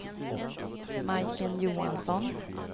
Majken Johansson